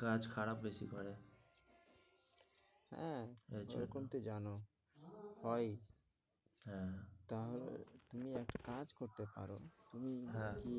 গাছ খারাপ বেশি করে হ্যাঁ, এখন তো জানো হয়ই হ্যাঁ, তাহলে তুমি এক কাজ করতে পারো, তুই কি